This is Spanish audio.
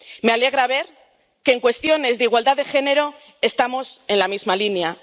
Me alegra ver que, en cuestiones de igualdad de género, estamos en la misma línea.